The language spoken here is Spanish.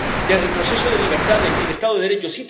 de retroceso de libertades ni de Estado de Derecho.